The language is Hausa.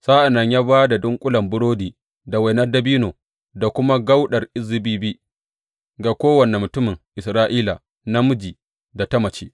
Sa’an nan ya ba da dunƙulen burodi da wainar dabino da kuma kauɗar zabibi ga kowane mutumin Isra’ila namiji da ta mace.